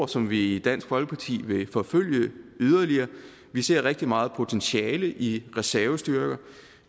som vi i dansk folkeparti vil forfølge yderligere vi ser rigtig meget potentiale i reservestyrker